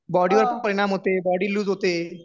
body वरती परिणाम होते बॉडी लूज होते